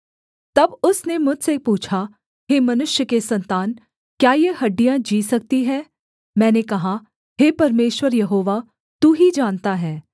तब उसने मुझसे पूछा हे मनुष्य के सन्तान क्या ये हड्डियाँ जी सकती हैं मैंने कहा हे परमेश्वर यहोवा तू ही जानता है